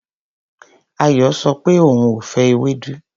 Ayọ sọ pé òun ò fẹ́ ewédú.